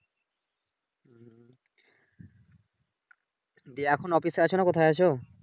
জ্বি এখন অফিসে আছো নাহ কোথায় আছো?